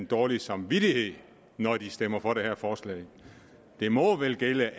dårlig samvittighed når de stemmer for det her forslag det må vel gælde